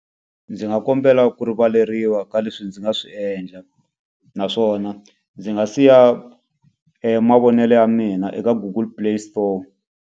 Ndzi nga kombela ku rivaleriwa ka leswi ndzi nga swi endla. Naswona ndzi nga siya mavonelo ya mina eka Google Play Store.